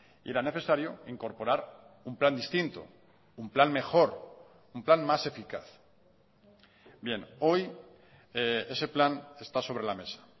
y era necesario incorporar un plan distinto un plan mejor un plan más eficaz bien hoy ese plan está sobre la mesa